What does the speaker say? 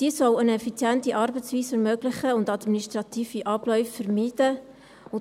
Diese soll eine effiziente Arbeitsweise ermöglichen und administrative Abläufe vermeiden.